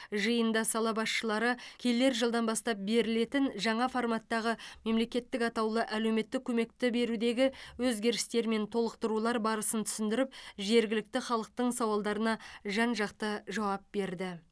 жиында сала басшылары келер жылдан бастап берілетін жаңа форматтағы мемлекеттік атаулы әлеуметтік көмекті берудегі өзгерістер мен толықтырулар барысын түсіндіріп жергілікті халықтың сауалдарына жан жақты жауап берді